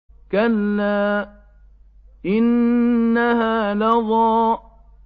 كَلَّا ۖ إِنَّهَا لَظَىٰ